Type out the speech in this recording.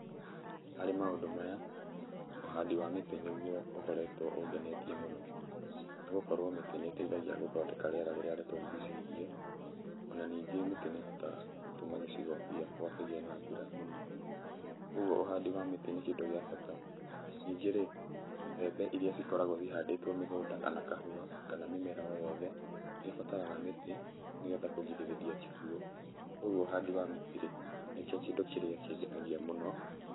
Harĩ maũndũ maya, ũhandi wa mĩtĩ nĩguo ũkoretwo ũngenetie mũno, nĩ gũkorwo mĩtĩ nĩteithagia gũthondeka rĩera rĩrĩa rĩtũrigicĩirie. Ona ningĩ mĩtĩ nĩ ĩhotaga gũtũma gĩcigo gĩakwa kĩgĩe na mbura ũguo ũhandi wa mĩtĩ nĩ kĩndũ gĩa bata. Ningĩ rĩ mbembe iria cikoragwo cihandĩtwo mĩgunda kana kahũa kana o mĩmera o yothe nĩ ĩbataraga mĩtĩ nĩgetha kũrigĩrĩria kĩguo, koguo ũhandi wa mĩtĩ rĩ nĩ kĩo kĩndũ kĩrĩa kĩngenagia mũno.